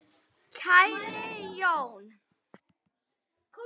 Kæri Jón.